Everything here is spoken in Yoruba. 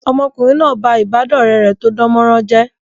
Ọmọkùnrin náà ba ìbádọ́ọ̀rẹ́ rẹ̀ tó dánmọrán jẹ́